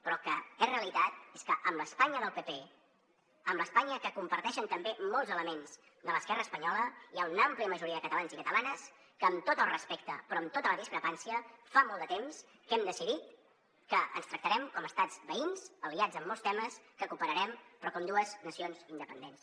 però el que és realitat és que amb l’espanya del pp amb l’espanya que comparteixen també molts elements de l’esquerra espanyola hi ha un àmplia majoria de catalans i catalanes que amb tot el respecte però amb tota la discrepància fa molt de temps que hem decidit que ens tractarem com a estats veïns aliats en molts temes que cooperarem però com dues nacions independents